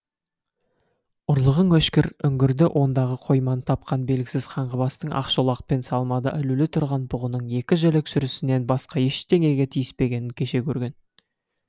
ұрлығың өшкір үңгірді ондағы қойманы тапқан белгісіз қаңғыбастың ақшолақ пен салмада ілулі тұрған бұғының екі жілік сүрісінен басқа ештеңеге тиіспегенін кеше көрген